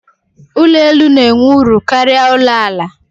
Ụlọ elu n'enwe uru karịa ụlọ àlà